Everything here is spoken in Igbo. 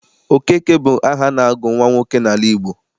Okeke bụ aha a na-agụ nwa nwoke n'ala Igbo.